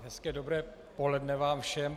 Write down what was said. Hezké dobré poledne vám všem.